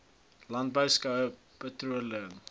landbou skoue patrolering